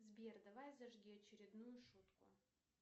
сбер давай зажги очередную шутку